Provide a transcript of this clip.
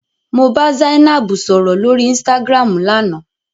Mo bá Zainab sọ̀rọ̀ lóri Instagram lánàá.